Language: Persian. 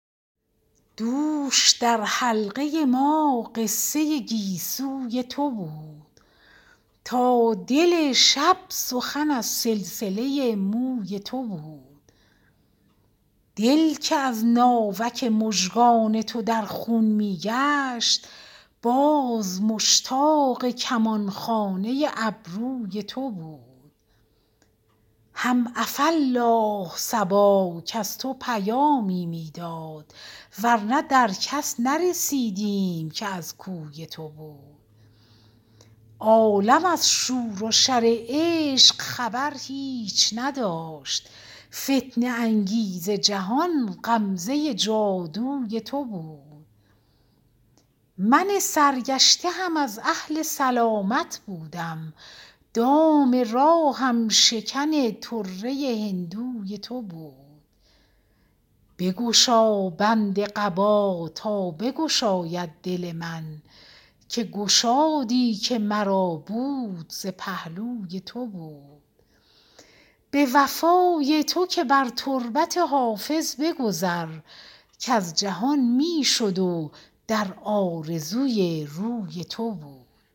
دوش در حلقه ما قصه گیسوی تو بود تا دل شب سخن از سلسله موی تو بود دل که از ناوک مژگان تو در خون می گشت باز مشتاق کمان خانه ابروی تو بود هم عفاالله صبا کز تو پیامی می داد ور نه در کس نرسیدیم که از کوی تو بود عالم از شور و شر عشق خبر هیچ نداشت فتنه انگیز جهان غمزه جادوی تو بود من سرگشته هم از اهل سلامت بودم دام راهم شکن طره هندوی تو بود بگشا بند قبا تا بگشاید دل من که گشادی که مرا بود ز پهلوی تو بود به وفای تو که بر تربت حافظ بگذر کز جهان می شد و در آرزوی روی تو بود